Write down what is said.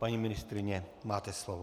Paní ministryně, máte slovo.